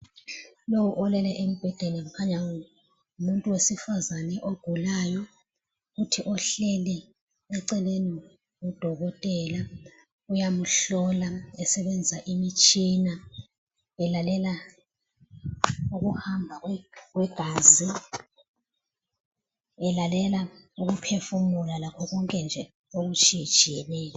Lowu olele embhedeni kukhanya ngumuntu wesifazane ogulayo. Kuthi ohleli eceleni ngudokotela. Uyamuhlola esebenzisa imtshina, elalela ukuhamba kwegazi, elalela ukuphefumula lakhokonke nje okutshiyetshiyeneyo.